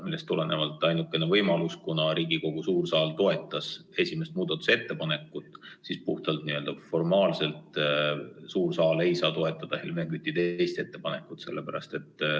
Sellest tulenevalt, kuna Riigikogu suur saal toetas esimest muudatusettepanekut, siis puhtformaalselt suur saal ei saa toetada Helmen Küti muudatusettepanekut nr 2.